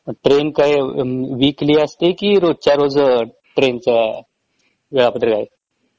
train काय weekly असते कि रोजच्या रोज ट्रेन च वेळापत्रक आहे